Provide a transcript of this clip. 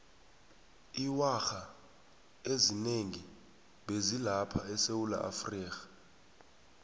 iwarha ezinengi bezi lapha esewulaafrika